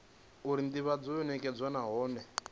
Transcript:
uri ndivhadzo yo nekedzwa nahone